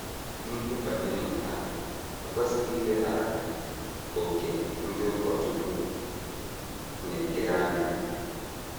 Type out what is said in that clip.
N’ihe banyere nke a, e kwesịghị ileghara òkè ndị ụkọchukwu na - ekere anya.